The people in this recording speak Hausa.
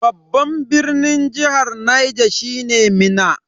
Babban birnin jihar Niger shine Minna.